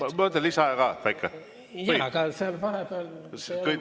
Kas võtate lisaaega ka?